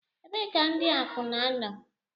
Ebee ka ndi akwuna nọ?